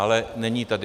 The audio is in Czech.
Ale není tady.